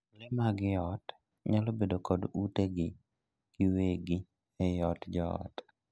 Lee mag ii ot nyalo bedo kod utegi giwegi ei od joot.